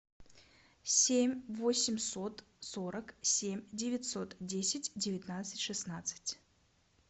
семь восемьсот сорок семь девятьсот десять девятнадцать шестнадцать